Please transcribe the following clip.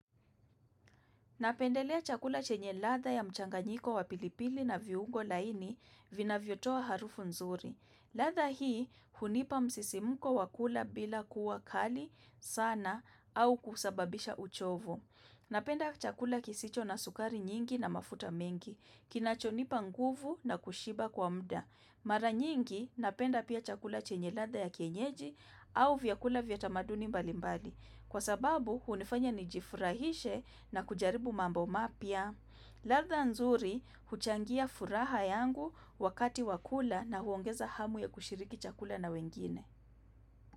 Napendelea chakula chenye ladha ya mchanganyiko wa pilipili na viungo laini, vinavyotoa harufu nzuri. Ladha hii, hunipa msisimko wa kula bila kuwa kali, sana, au kusababisha uchovu. Napenda chakula kisicho na sukari nyingi na mafuta mengi, kinachonipa nguvu na kushiba kwa muda. Mara nyingi, napenda pia chakula chenye ladha ya kienyeji, au vyakula vya tamaduni mbali mbali. Kwa sababu, hunifanya nijifurahishe na kujaribu mambo mapya. Ladha nzuri, huchangia furaha yangu wakati wa kula na huongeza hamu ya kushiriki chakula na wengine.